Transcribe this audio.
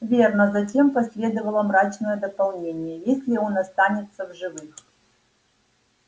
верно затем последовало мрачное дополнение если он останется в живых